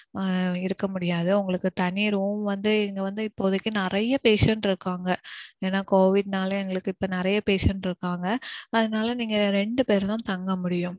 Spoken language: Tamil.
இருக்க முடியாது. உங்களுக்கு தனி room வந்து இங்க வந்து இப்போதைக்கு நெறையா patient இருக்காங்க. ஏனா covid நால எங்களுக்கு இப்போ நெறைய patient இருக்காங்க. அதனால நீங்க ரெண்டுபேரு தான் தங்க முடியும்.